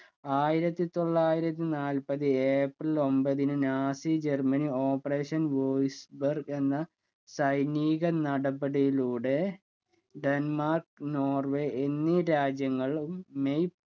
ആയിരത്തി തൊള്ളായിരത്തി നാൽപതു ഏപ്രിൽ ഒൻപതിന് Nazi Germany operation voice burg എന്ന സൈനിക നടപടിയിലൂടെ ഡെന്മാർക്ക് നോർവെ എന്നീ രാജ്യങ്ങളും മെയ്